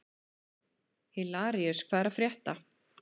Hilaríus, hvað er að frétta?